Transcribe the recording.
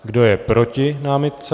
Kdo je proti námitce?